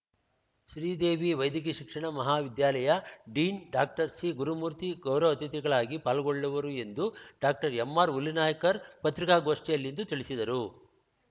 ಶ್ರೀದೇವಿ ವೈದ್ಯಕೀಯ ಶಿಕ್ಷಣ ಮಹಾವಿದ್ಯಾಲಯ ಡೀನ್ ಡಾಕ್ಟರ್ ಸಿ ಗುರುಮೂರ್ತಿ ಗೌರವ ಅತಿಥಿಗಳಾಗಿ ಪಾಲ್ಗೊಳ್ಳುವರು ಎಂದು ಡಾಕ್ಟರ್ಎಂ ಆರ್ ಹುಲಿನಾಯ್ಕರ್ ಪತ್ರಿಕಾಗೋಷ್ಠಿಯಲ್ಲಿಂದು ತಿಳಿಸಿದರು